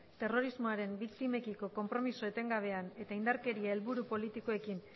terrorismoaren biktimekiko konpromiso etengabean eta indarkeria helburu politikoekin